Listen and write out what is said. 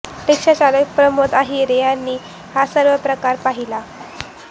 रिक्षा चालक प्रमोद आहिरे यांनी हा सर्व प्रकार पाहिला